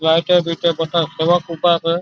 जायस च बीच सवा उभा असं.